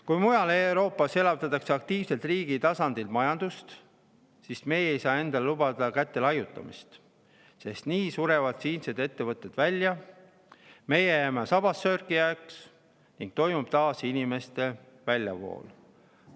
Kui mujal Euroopas elavdatakse aktiivselt riigi tasandil majandust, siis meie ei saa endale lubada käte laiutamist, sest nii surevad siinsed ettevõtted välja, me jääme sabassörkijaks ning hakkab taas toimuma inimeste väljavool.